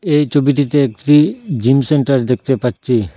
এই ছবিটিতে একটি জিম সেন্টার দেখতে পাচ্চি।